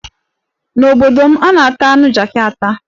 N'obodo m, a na-ata anụ jakị ata.